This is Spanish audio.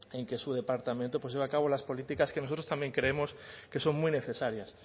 en que su departamento pues lleve a cabo las políticas que nosotros también creemos que son muy necesarias